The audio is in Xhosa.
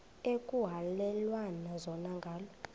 ekuhhalelwana zona ngala